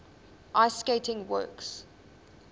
ice skating works